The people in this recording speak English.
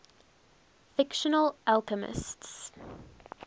fictional alchemists